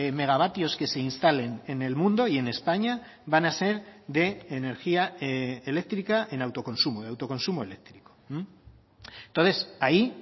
megavatios que se instalen en el mundo y en españa van a ser de energía eléctrica en autoconsumo de autoconsumo eléctrico entonces ahí